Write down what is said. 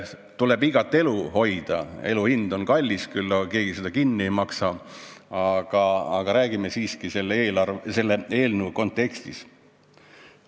Tuleb iga elu hoida, elu hind on kallis küll, ega keegi seda kinni ei maksa, aga räägime siiski selle eelnõu kontekstis.